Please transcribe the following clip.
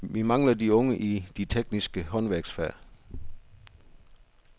Vi mangler de unge i de tekniske håndværksfag.